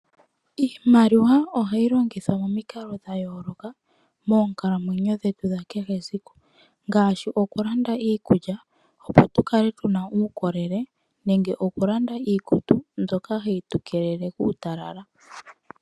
Iimaliwa ohayi longithwa momikalo dha yooloka moonkalamwenyo dhetu dha kehe esiku. Ngaashi oku landa iikulya opo tu kale tu na uundjolowele, oku landa iikutu mbyoka hayi tu keelele kuutalala.